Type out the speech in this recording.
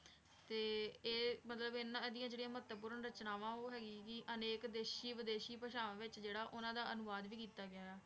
ਤੇ ਮਤਲਬ ਇਹਨਾਂ ਦੀਆਂ ਜਿਹੜੀਆਂ ਮਹੱਤਵਪੂਰਨ ਰਚਨਾਵਾਂ ਉਹ ਹੈਗੀਆਂ ਸੀ, ਅਨੇਕ ਦੇਸ਼ੀ ਵਿਦੇਸ਼ੀ ਭਾਸ਼ਾਵਾਂ ਵਿੱਚ ਜਿਹੜਾ ਉਹਨਾਂ ਦਾ ਅਨੁਵਾਦ ਵੀ ਕੀਤਾ ਗਿਆ ਹੈ,